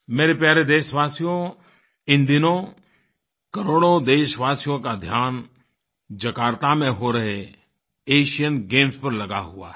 मेरे प्यारे देशवासियो इन दिनों करोड़ों देशवासियों का ध्यान जकार्ता में हो रहे एशियन गेम्स पर लगा हुआ है